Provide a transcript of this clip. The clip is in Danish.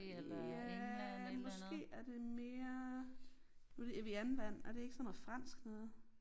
Ja måske er det mere nu det Evian vand er det ikke sådan noget fransk noget?